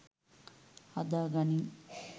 හදා ගනින්